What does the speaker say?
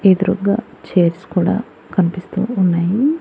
ఎదురుగ్గా chairs కూడా కనిపిస్తూ ఉన్నాయి.